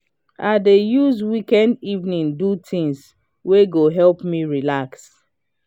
i dey use weekend evening do things wey go help me relax.